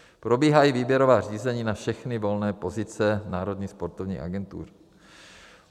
Probíhají výběrová řízení na všechny volné pozice Národní sportovní agentury.